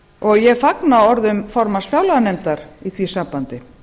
og ég fagna orðum háttvirts formanns fjárlaganefndar í því sambandi